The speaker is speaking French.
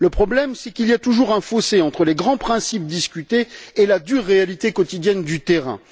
Le problème c'est qu'il y a toujours un fossé entre les grands principes discutés et la dure réalité quotidienne du terrain.